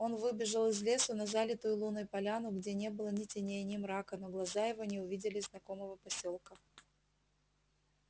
он выбежал из лесу на залитую луной поляну где не было ни теней ни мрака но глаза его не увидели знакомого посёлка